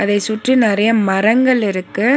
இதை சுற்றி நெறைய மரங்கள் இருக்கு.